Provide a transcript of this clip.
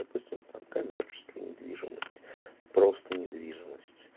допустим там коммерческая недвижимость просто недвижимость